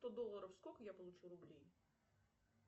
сто долларов сколько я получу рублей